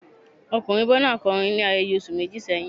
Ọmọkunrin Burna kọrin ni ibi ayẹyẹ oṣu meji sẹhin